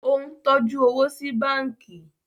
o ń tọjú owo sí bánkì